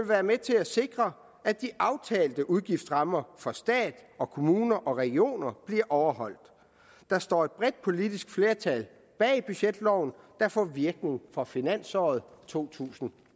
være med til at sikre at de aftalte udgiftsrammer for stat kommuner og regioner bliver overholdt der står et bredt politisk flertal bag budgetloven der får virkning fra finansåret to tusind